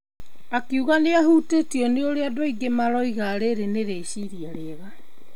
Akiuga nĩmahutĩtio nĩ ũrĩa andũ aingĩ maraiga rĩrĩ nĩ rĩciria rĩega.